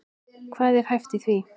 Hvað er hæft í því?